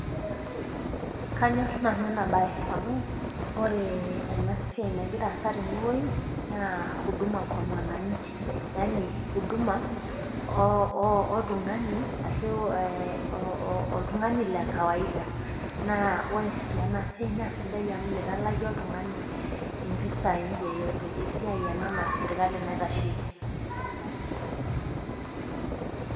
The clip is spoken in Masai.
Kanyor nanu ena baye, amu ore ea siai nagira aasa tenewueji, naa huduma kwa mwananchi, yaani huduma oltung'ani le kawaida, naa ore sii ena siai naa sidai amu meitalaki oltung'ani impisai yeyote, esiai ena naa sirkali naitasheiki.